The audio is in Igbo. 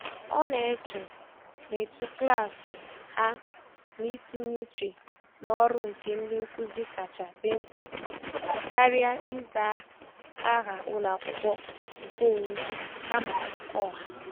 Ọ na-eche na etu klaasị ha na itinye uche n'ọrụ nke ndị nkụzi kacha di mkpa karịa ịza aha ụlọakwụkwọ nke onwe kama nke ọha.